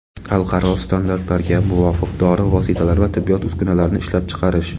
xalqaro standartlarga muvofiq dori vositalari va tibbiyot uskunalarini ishlab chiqarish;.